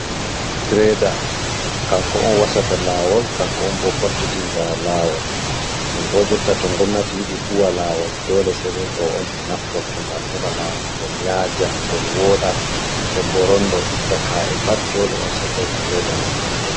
Greda kanko on wasata lawol, kanko on bo fottitinda lawol, non bo jotta to gomnati yiɗi huwa lawol dole sei be ɗo on bo naftorto ngam heɓa lawol man ngol yaja, gol woɗa, den bo rondo itta ka’e pat dole on sei be greda man on naftorto.